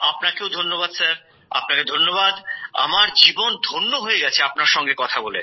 আপনাকে ধন্যবাদ স্যার আপনাকে ধন্যবাদ আমার জীবন ধন্য হয়ে গেছে আপনার সঙ্গে কথা বলে